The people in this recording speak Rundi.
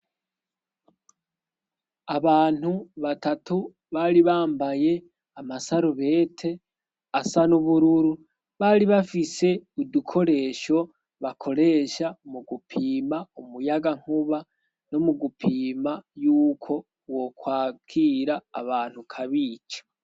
Abantu batatu bari bambaye amasarubete asa na ubururu bari bafise udukoresho bakoresha mu gupima umuyaga nkuba no mu gupima yuko wokwakira abantu kabica.